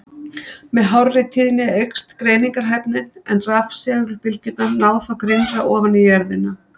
Með hárri tíðni eykst greiningarhæfnin, en rafsegulbylgjurnar ná þá grynnra ofan í jörðina.